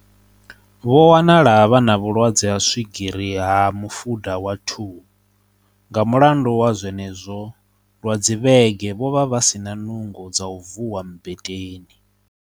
Vho wa nala vhe na vhulwadze ha swigiri ha mufuda wa 2, nga mulandu wa zwenezwo lwa dzivhege vho vha vha si na nungo dza u vuwa mmbeteni.